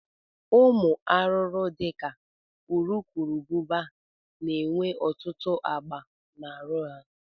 Ụmụ arụrụ dị ka urukurubụba na-enwe ọtụtụ agba na arụ ha